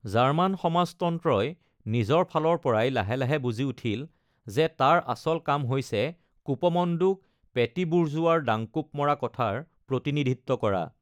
German সমাজতন্ত্ৰই নিজৰ ফালৰপৰাই লাহে লাহে বুজি উঠিল যে তাৰ আচল কাম হৈছে কূপমণ্ডূক পেটি বুৰ্জোৱাৰ ডাংকোপ মৰা কথাৰ প্ৰতিনিধিত্ব কৰা।